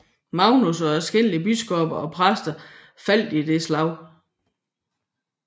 Magnus og adskillige biskopper og præster faldt i dette slag